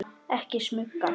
Ekki smuga!